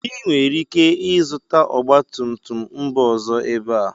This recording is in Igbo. Ị nwere ike ịzụta ọgba tum tum mba ọzọ ebe a